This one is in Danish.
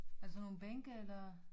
Er det sådan nogel bænke eller